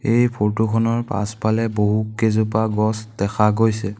এই ফটো খনৰ পাছফালে বহু কেইজোপা গছ দেখা গৈছে।